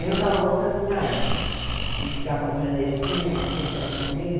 Eu não estava gostando nada de ficar como clandestina, de ter que estar me escondendo.